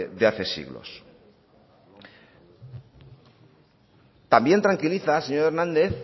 de hace siglos también tranquiliza señor hernández